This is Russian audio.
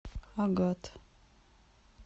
агат